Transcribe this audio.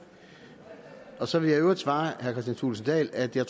at så vil jeg i øvrigt svare herre kristian thulesen dahl at jeg